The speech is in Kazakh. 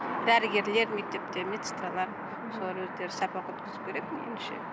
дәрігерлер мектепте медсестралар солар өздері сабақ өткізу керек меніңше